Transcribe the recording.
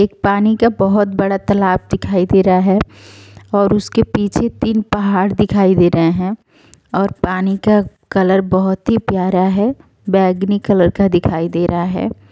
एक पानी का बोहोत बड़ा तालाब दिखाई दे रहा है और उसके पीछे तीन पहाड़ दिखाई दे रहे हैं और पानी का कलर बोहोत ही प्यारा है। बैंगनी कलर का दिखाई दे रहा है।